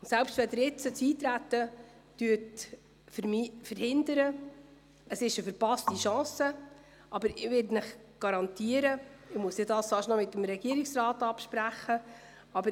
Selbst wenn Sie das Eintreten jetzt verhindern – es wäre eine verpasste Chance –, gehe ich davon aus, dass Sie sich noch einmal mit dem Gesetz befassen müssen.